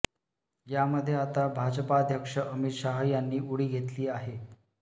यामध्ये आता भाजपाध्यक्ष अमित शाह यांनी उडी घेतली आहे